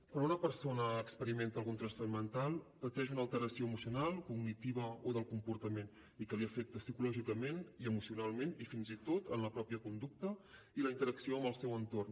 quan una persona experimenta algun trastorn mental pateix una alteració emocional cognitiva o del comportament i que l’afecta psicològicament i emocionalment i fins i tot en la pròpia conducta i la interacció amb el seu entorn